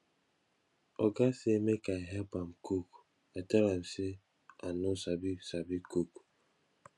oga say make i help am cook i tell am say i no sabi sabi cook